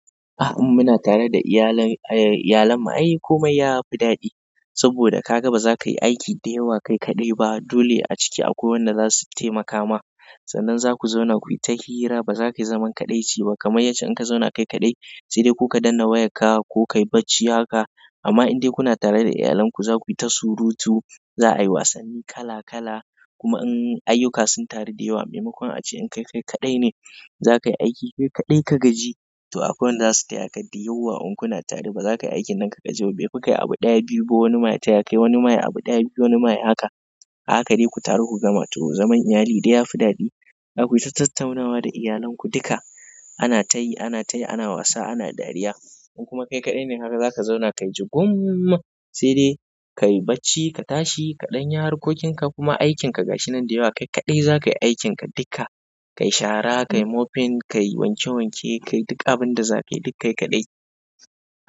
In muna tare da iyalan mu ai komai yafi daɗi saboda kaga baza ka yi aiki da yawa kai kaɗai ba. Dole a ciki akwai wanda zasu taimaka ma. Sannan zaku zauna kuyi ta hira, baza ka yi zaman kaɗaici ba. Kamai yace in ka zauna kai kaɗai sai dai kuka danna wayarka ko kayi bacci haka. Amma in dai kuna tare da iyalan ku zaku yi ta surutu, za a yi wasanni kala kala. Kuma in ayyuka sun taru da yawa. Maimakon a ce in kai kaɗai ne za ka yi aiki kai kaɗai ka gaji to akwai wanda zasu taya ka dai yauwa. In kuna tare baza ka yi aikin nan ka gaji ba. Baifi kai abu ɗaya biyu, ba wani ma ta ya ka wani maye abu ɗaya biyu wani maye haka. Haka dai ku taru ku gama. To zaman iyali dai yafi daɗi. Zakui tattaunawa da iyalanku duka ana ta yi, ana ta yi, ana wasa, ana dariya. In kuma kai kaɗai ne haka za ka zauna kayi jugum sai dai kayi bacci, ka tashi, ka ɗanya harkokin ka kuma aikin ka gashi nan da yawa. Kai kaɗai za ka yi aikin ka duka. Kai shara, kai mofin, kayi wanke wanke, kayi duk abinda za ka yi duk kai kaɗai.